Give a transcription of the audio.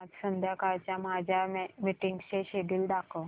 आज संध्याकाळच्या माझ्या मीटिंग्सचे शेड्यूल दाखव